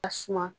A suma